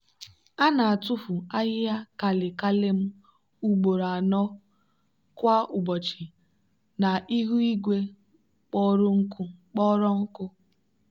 a na-atụfu ahịhịa kale kale m ugboro anọ kwa ụbọchị na ihu igwe kpọrọ nkụ.